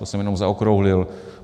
To jsem jenom zaokrouhlil.